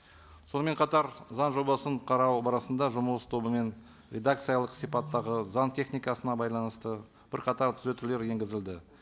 сонымен қатар заң жобасын қарау барысында жұмыс тобымен редакциялық сипаттағы заң техникасына байланысты бірқатар түзетулер енгізілді